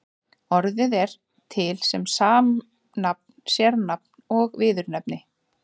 Orðið er til sem samnafn, sérnafn og viðurnefni.